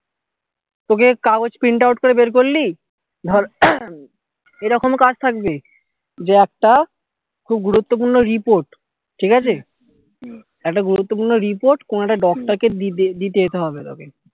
তোকে কাগজ print out করে বের করলি ধর এরকম কাজ থাকবে যে একটা খুব গুরুত্বপূর্ণ report ঠিক আছে একটা গুরুত্বপূর্ণ report কোনো একটা doctor কে দিতে যেতে হবে তোকে